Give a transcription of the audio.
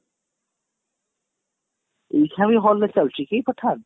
ଏଇକ୍ଷିଣା ବି hall ରେ ଚାଲୁଛି କି pathan